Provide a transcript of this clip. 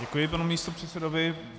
Děkuji panu místopředsedovi.